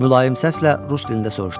Mülayim səslə rus dilində soruşdu.